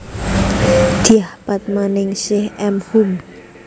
Dyah Padmaningsih M Hum